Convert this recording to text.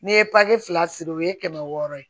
N'i ye papi fila siri o ye kɛmɛ wɔɔrɔ ye